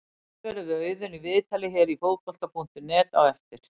Rætt verður við Auðun í viðtali hér á Fótbolta.net á eftir.